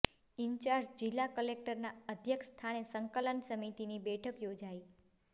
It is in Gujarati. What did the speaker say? ઇન્ચાર્જ જિલ્લા કલેકટરના અધ્યક્ષ સ્થાને સંકલન સમિતિની બેઠક યોજાઇ